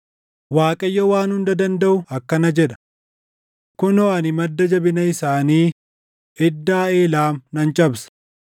Waaqayyo Waan Hunda Dandaʼu akkana jedha: “Kunoo ani madda jabina isaanii, iddaa Eelaam nan cabsa.